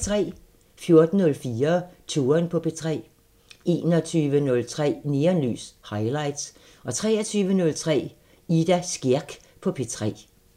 14:04: Touren på P3 21:03: Neonlys – Highlights 23:03: Ida Skjerk på P3